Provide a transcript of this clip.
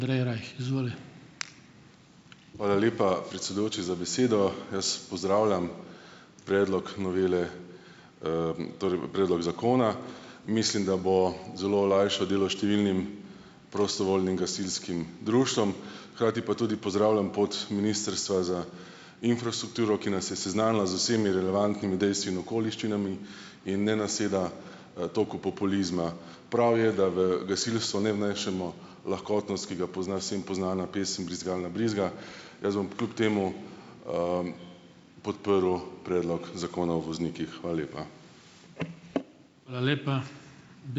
Hvala lepa, predsedujoči, za besedo. Jaz pozdravljam predlog novele, torej predlog zakona. Mislim, da bo zelo olajšal delo številnim prostovoljnim gasilskim društvom, hkrati pa tudi pozdravljam pot ministrstva za infrastrukturo, ki nas je seznanila z vsemi relevantnimi dejstvi in okoliščinami in ne naseda, toku populizma. Prav je, da v gasilstvo ne vnesemo lahkotnost, ki ga pozna vsem poznana pesem Brizgalna brizga. Jaz bom kljub temu, podprl predlog zakona o voznikih. Hvala lepa.